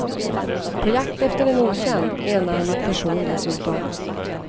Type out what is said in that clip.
På jakt efter en okänd, enarmad person dessutom.